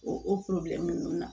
O o nunnu na